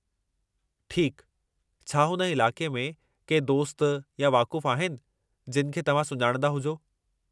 ठीकु, छा हुन इलाक़े में के दोस्त या वाक़ुफ़ु आहिनि जिनि खे तव्हां सुञाणंदा हुजो?